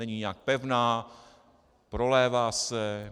Není nijak pevná, prolévá se.